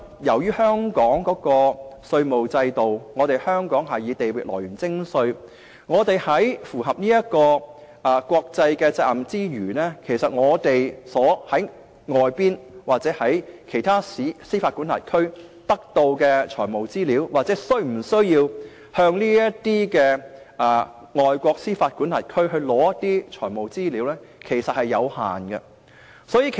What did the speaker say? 由於香港的稅務制度是以地域來源徵稅，我們在符合國際責任之餘，從外國或其他司法管轄區得到的財務資料有限，對於是否需要向這些外國司法管轄區索取財務資料所知亦有限。